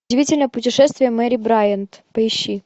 удивительное путешествие мэри брайант поищи